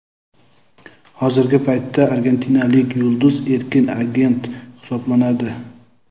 Hozirgi paytda argentinalik yulduz erkin agent hisoblanadi.